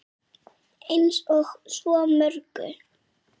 Eins og svo mörgu.